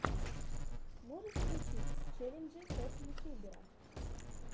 можешь включить челленджи топ ютубера